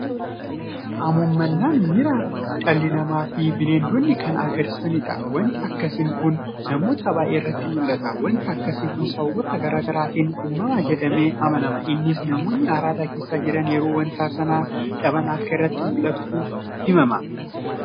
Hamuummannaan miira dhalli namaafi bineeldonni kaan agarsiisanidha. Waanti akkasiin kun namoota baay'ee irratti mul'ata. waanti akkasii kun sababoota garaa garaatiin uumama jedhamee amanama. Innis namoonni araada keessa jiran yeroo waanta sana dhaban akka irratti mul'atutu himama.